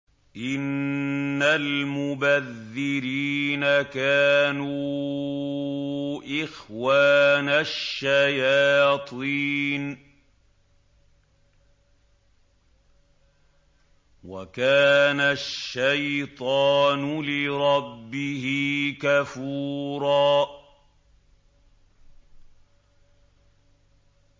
إِنَّ الْمُبَذِّرِينَ كَانُوا إِخْوَانَ الشَّيَاطِينِ ۖ وَكَانَ الشَّيْطَانُ لِرَبِّهِ كَفُورًا